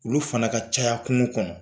Olu fana ka caya kunun kɔnɔ